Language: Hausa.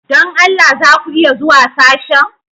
Don Allah za ku iya zuwa sashen?